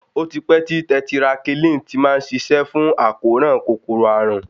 Ó ti pẹ́ tí tẹtirakílìn ti má ń ṣiṣẹ́ fún àkóràn kòkòrò àrùn.